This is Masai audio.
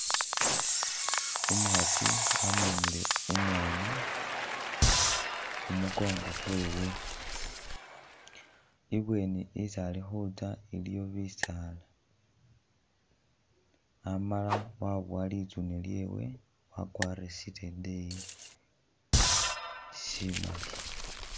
Umukhaasi wamemile umwana khumukongo khwewe ,ibweni esi ali khutsya iliyo bisaala ,amala wabowa litsune lyebwe ,wakwarire shiteteyi simali